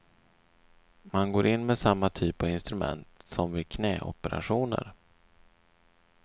Man går in med samma typ av instrument som vid knäoperationer.